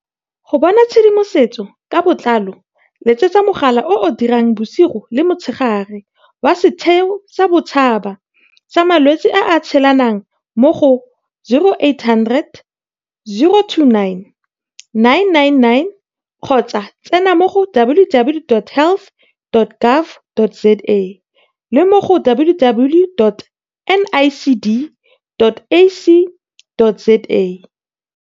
Go bona tshedimosetso ka botlalo letsetsa mogala o o dirang bosigo le motshegare wa Setheo sa Bosetšhaba sa Malwetse a a Tshelanang mo go 0800 029 999 kgotsa tsena mo go www.health.gov.za le mo go www.nicd.ac.za